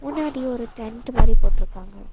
பின்னாடி ஒரு டென்ட் மாரி போட்டுருக்காங்க.